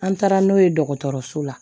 An taara n'o ye dɔgɔtɔrɔso la